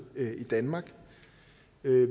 i danmark